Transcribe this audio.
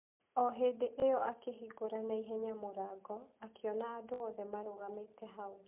O hĩndĩ ĩyo akĩhingũra na ihenya mũrango, akĩona andũ othe marũgamĩte hau.